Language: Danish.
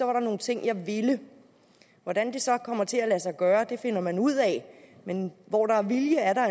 var der nogle ting jeg ville hvordan det så kommer til at lade sig gøre finder man ud af men hvor der er vilje er der